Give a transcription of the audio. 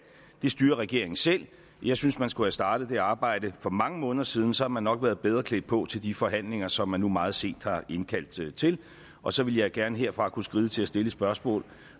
styrer regeringen selv jeg synes man skulle have startet det arbejde for mange måneder siden så havde man nok været bedre klædt på til de forhandlinger som man nu meget sent har indkaldt til og så ville jeg gerne herfra kunne skride til at stille et spørgsmål